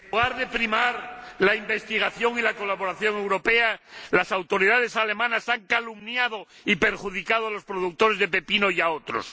Señor Presidente, en lugar de primar la investigación y la colaboración europea, las autoridades alemanas han calumniado y perjudicado a los productores de pepino y a otros.